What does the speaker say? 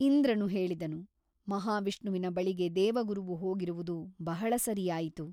ಇಂದ್ರನು ಹೇಳಿದನು ಮಹಾವಿಷ್ಣುವಿನ ಬಳಿಗೆ ದೇವಗುರುವು ಹೋಗಿರುವುದು ಬಹಳ ಸರಿಯಾಯಿತು.